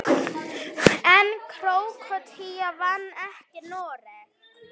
En Króatía vann ekki Noreg.